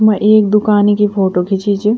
उम्मा एक दुकानी कि फोटो खिचीं च।